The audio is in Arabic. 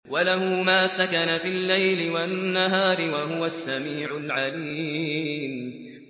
۞ وَلَهُ مَا سَكَنَ فِي اللَّيْلِ وَالنَّهَارِ ۚ وَهُوَ السَّمِيعُ الْعَلِيمُ